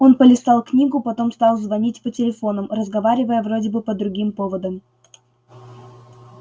он полистал книгу потом стал звонить по телефонам разговаривая вроде бы по другим поводам